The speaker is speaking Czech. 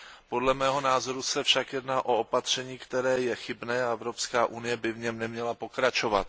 Podle mého názoru se však jedná o opatření, které je chybné, a Evropská unie by v něm neměla pokračovat.